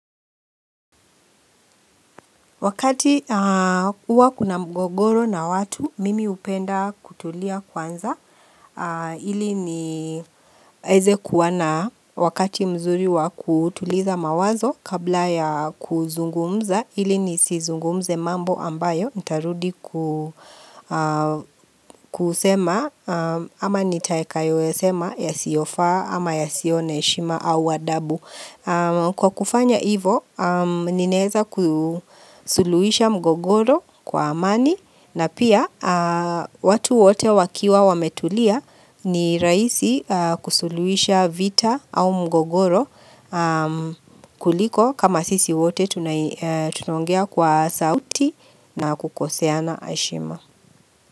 Wakati huwa kuna mgogoro na watu, mimi upenda kutulia kwanza ili ni eze kuwa na wakati mzuri wa kutuliza mawazo kabla ya kuzungumza ili nisi zungumze mambo ambayo. Ntarudi kusema ama nitaekayo ya sema ya siofaa ama ya sio na heshima au adabu Kwa kufanya ivo ninaeza kusuluisha mgogoro kwa amani na pia watu wote wakiwa wametulia ni raisi kusuluisha vita au mgogoro kuliko kama sisi wote tunaongea kwa sauti na kukoseana heshima.